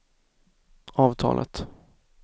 avtalet